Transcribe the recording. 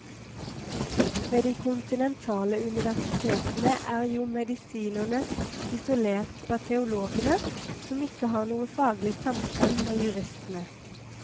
Ved de kontinentale universitetene er jo medisinerne isolert fra teologene, som ikke har noe faglig samkvem med juristene.